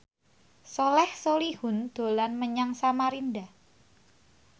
Soleh Solihun dolan menyang Samarinda